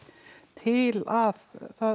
til að